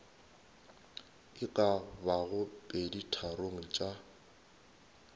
e ka bago peditharong tša